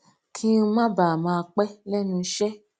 kí n má bàa máa pé lénu iṣé